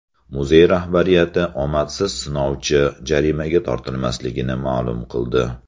Muzey rahbariyati omadsiz sinovchi jarimaga tortilmasligini ma’lum qildi.